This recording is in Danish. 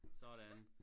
Sådan